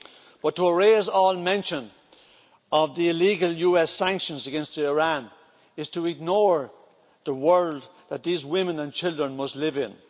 But to erase all mention of the illegal US sanctions against Iran is to ignore the world that these women and children must live in.